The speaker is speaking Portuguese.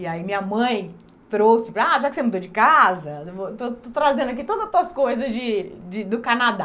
E aí minha mãe trouxe para... Ah, já que você mudou de casa, estou estou trazendo aqui todas as tuas coisas de de do Canadá.